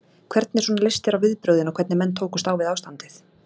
Hvernig svona leist þér á viðbrögðin og hvernig menn tókust á við ástandið?